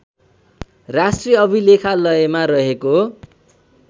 राष्ट्रिय अभिलेखालयमा रहेको